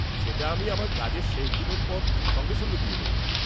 সেটা আমি আমার কাজের শেষ দিনের পর সঙ্গে সঙ্গে দিয়ে দেব।